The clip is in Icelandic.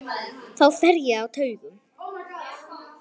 Þá fer ég á taugum.